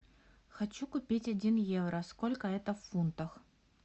хочу купить один евро сколько это в фунтах